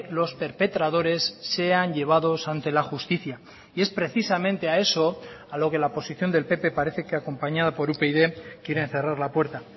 los perpetradores sean llevados ante la justicia y es precisamente a eso a lo que la posición del pp parece que acompañado por upyd quieren cerrar la puerta